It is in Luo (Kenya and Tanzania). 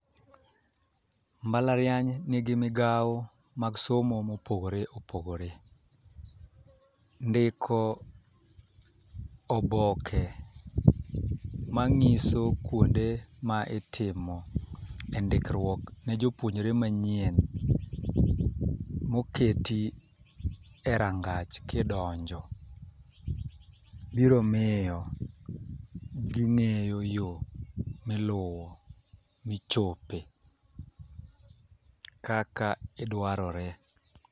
Mbalariany nigi migawo mag somo mopogore opogore. Ndiko oboke manyiso kuonde ma itimo e ndikruok ne jopuonjre manyien moketi e rangach ki donjo, biro miyo gi ng'eyo yoo miluwo michope kaka idwarore.